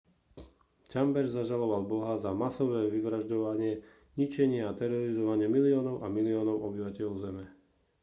chambers zažaloval boha za masové vyvražďovanie ničenie a terorizovanie miliónov a miliónov obyvateľov zeme